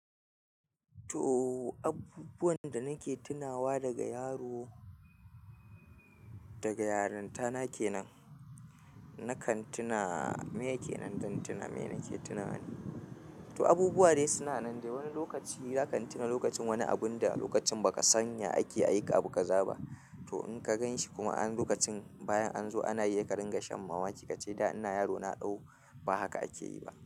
To abubuwan danake tunawa daga yaro, daga yarintana kenan nakan tuna meye kenan zan tuna meye nake tunawa ne to abubuwa dai suna nan dai, wani lokaci zaka tuna lokacin wani abun da lokacin baka san ya ake ai abu ka zaba. To in ka gan shi kuma an lokacin bayan an zo ana iya ka ringa shan mamaki, ka ce "da ina yaro na dau, ba haka akeyi ba".